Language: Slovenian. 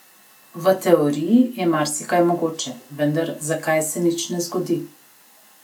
V teoriji je marsikaj mogoče, vendar zakaj se nič ne zgodi?